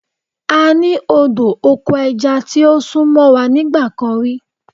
A ní odò oko ẹja tí ó sún mọ́ wa nígbà kan rí.